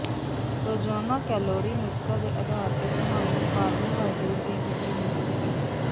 ਰੋਜ਼ਾਨਾ ਕੈਲੋਰੀ ਨੁਸਖ਼ਾ ਦੇ ਆਧਾਰ ਤੇ ਤੁਹਾਨੂੰ ਕਾਰਬੋਹਾਈਡਰੇਟ ਦੀ ਗਿਣਤੀ ਮਿਲ ਸਕਦੀ ਹੈ